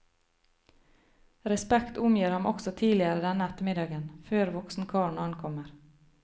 Respekt omgir ham også tidligere denne ettermiddagen, før voksenkarene ankommer.